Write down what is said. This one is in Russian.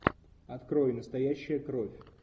открой настоящая кровь